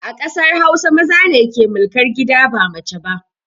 A ƙasar hausa, maza ne ke mulkar gida ba mace ba